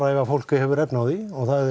ef fólk hefur efni á því